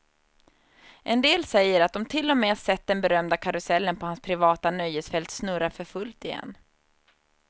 En del säger att de till och med sett den berömda karusellen på hans privata nöjesfält snurra för fullt igen.